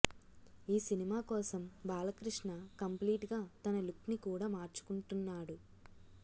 ఈ సినిమా కోసం బాలకృష్ణ కంప్లీట్ గా తన లుక్ ని కూడా మార్చుకున్తున్నాడు